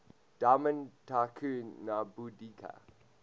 diamond tycoon nwabudike